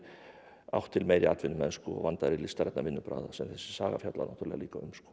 átt til meiri atvinnumennsku og vandaðri listrænni vinnubragða sem þessi saga fjallar náttúrulega líka um